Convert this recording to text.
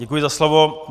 Děkuji za slovo.